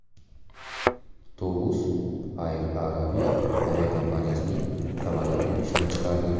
Tovus Air Arabia aviakompaniyasining samolyotini ishdan chiqardi.